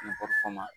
N kɔ ma